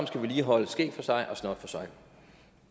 skal vi lige holde skæg for sig og snot for sig